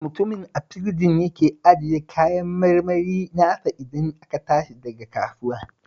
Mutumin a firji yake ajiye kayan kayan marmarin nasa idan aka tashi daga kasuwar